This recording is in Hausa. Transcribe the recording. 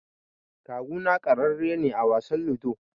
Kawuna ƙararre ne a wasan Ludo.